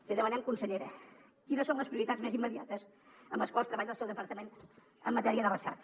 li demanem consellera quines són les prioritats més immediates amb les quals treballa el seu departament en matèria de recerca